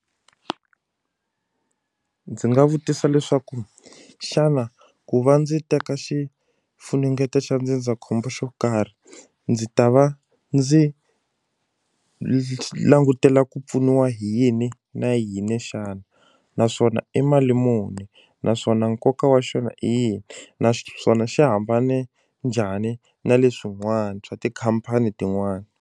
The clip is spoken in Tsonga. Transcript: Ku ndzi nga vutisa leswaku xana ku va ndzi teka xifunengeto xa ndzindzakhombo xo karhi ndzi ta va ndzi lexi langutela ku pfuniwa hi yini na yini xana naswona i mali muni naswona nkoka wa xona i yini naswona xi hambane njhani na leswin'wana swa tikhampani tin'wana.